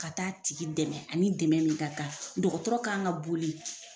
Ka ta' tigi dɛmɛ ani dɛmɛ min ka kan dɔgɔtɔrɔ kan ka boli.